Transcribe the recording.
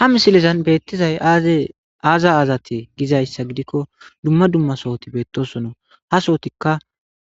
ha misilezan beettizay aaza aazate gizayssa gidikko dumma dumma sohoti beettosona ha sawotikka